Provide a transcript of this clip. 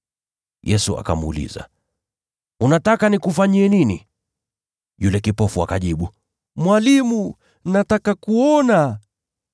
Yesu akamuuliza, “Unataka nikufanyie nini?” Yule kipofu akajibu, “Mwalimu, nataka kuona.”